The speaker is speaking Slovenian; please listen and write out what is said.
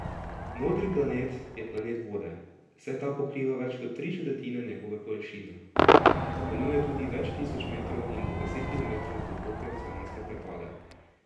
Modri planet je planet vode, saj ta pokriva več kot tri četrtine njegove površine, zapolnjuje tudi več tisoč metrov in do deset kilometrov globoke oceanske prepade.